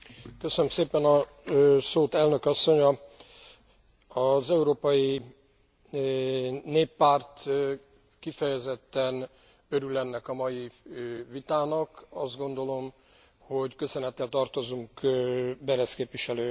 Az Európai Néppárt kifejezetten örül ennek a mai vitának, azt gondolom, hogy köszönettel tartozunk Berès képviselő asszonynak, hogy kezdeményezte, lehetővé tette